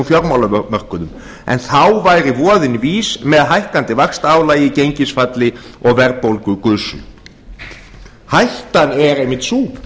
fjármálamörkuðum en þá væri voðinn vís með hækkandi vaxtaálagi gengisfalli og verðbólgugusu hættan er einmitt sú